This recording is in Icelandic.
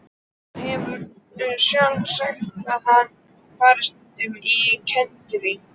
Þú hefur sjálf sagt að hann fari stundum á kenndirí.